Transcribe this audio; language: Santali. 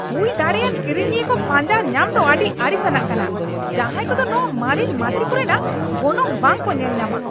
ᱦᱩᱭ ᱫᱟᱲᱮᱭᱟᱱ ᱠᱤᱨᱤᱧᱤᱭᱟᱹ ᱠᱚ ᱯᱟᱸᱡᱟ ᱧᱟᱢ ᱫᱚ ᱟᱹᱰᱤ ᱟᱹᱲᱤᱥᱟᱱᱟᱜ ᱠᱟᱱᱟ ᱡᱟᱦᱟᱭ ᱠᱚᱫᱚ ᱱᱚᱶᱟ ᱢᱟᱨᱮᱱ ᱢᱟᱹᱪᱤ ᱠᱚᱨᱮᱱᱟᱜ ᱜᱚᱱᱚᱝ ᱵᱟᱝᱠᱚ ᱧᱮᱞᱧᱟᱢᱟ ᱾